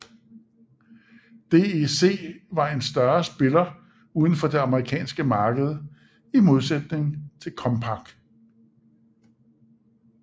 DEC var en større spiller uden for det amerikanske marked i modsætning til Compaq